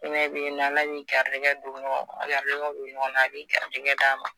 a b'i garijɛgɛ d' a ma